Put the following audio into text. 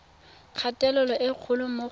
kgatelelo e kgolo mo go